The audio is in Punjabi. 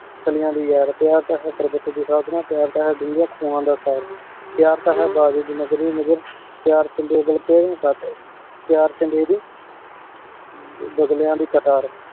ਫਾਲਿਯਾਂ ਦੀ ਯਾਰ ਪ੍ਯਾਰ ਤਾਂ ਪਰਬਤ ਦੀ ਯਾਤਰਾ ਪ੍ਯਾਰ ਤਾਂ ਹੈ ਦੂਂਗੀ ਖੂਹਾਂ ਦਾ ਤਾਰ ਪ੍ਯਾਰ ਤਾਂ ਹੈ ਬਾਬੀ ਦੀ ਨਗਰੀ ਨਗਰ ਪ੍ਯਾਰ ਚ ਪ੍ਯਾਰ ਚੰਗੇਰੀ ਬਾਗ੍ਲ੍ਯਾਂ ਦੀ ਕਾਤਰ